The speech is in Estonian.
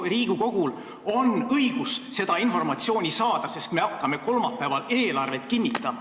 Riigikogul on õigus seda informatsiooni saada, sest me hakkame kolmapäeval eelarvet kinnitama.